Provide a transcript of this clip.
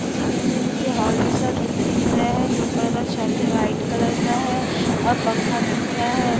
Martial art की कुछ कृति कर रहे है। ऊपर एक काले रंग का पंखा है।